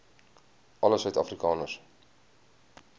alle suid afrikaners